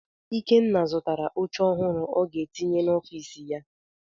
Ikenna zụtara oche ọhụrụ ọ ga-etinye n'ọfiisi ya.